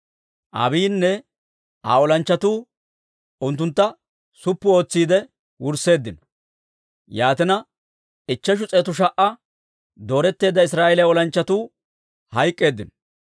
Abiiyinne Aa olanchchatuu unttuntta suppu ootsiide wursseeddino; yaatina, ichcheshu s'eetu sha"a dooretteedda Israa'eeliyaa olanchchatuu hayk'k'eeddino.